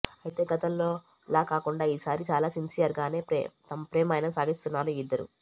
అయితే గతంలోలా కాకుండా ఈ సారి చాలా సిన్సియర్గానే తమ ప్రేమాయణం సాగిస్తున్నారు ఈ ఇద్దరు